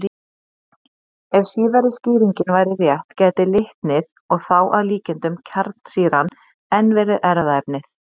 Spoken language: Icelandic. Ef síðari skýringin væri rétt gæti litnið, og þá að líkindum kjarnsýran, enn verið erfðaefnið.